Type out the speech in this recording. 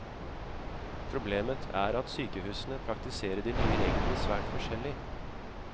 Problemet er at sykehusene praktiserer de nye reglene svært forskjellig.